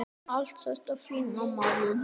Allt þetta fína, maður.